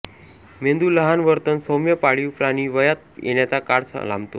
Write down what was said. मेंदू लहान वर्तन सौम्य पाळीव प्राणी वयात येण्याचा काळ लांबतो